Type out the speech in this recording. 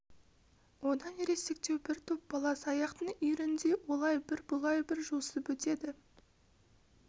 одан ересектеу бір топ бала саяқтың үйіріндей олай бір бұлай бір жосып өтеді